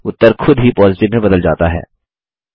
उत्तर खुद ही पॉजिटिव में बदल जाता है